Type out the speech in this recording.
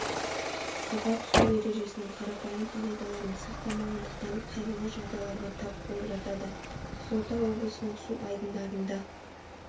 суға түсу ережесінің қарапайым қағидаларын сақтамағандықтан қайғылы жағдайларға тап болып жатады қызылорда облысының су айдындарында